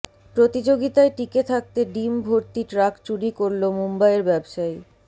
প্রতিযোগিতায় টিকে থাকতে ডিম ভর্তি ট্রাক চুরি করল মুম্বইয়ের ব্যবসায়ী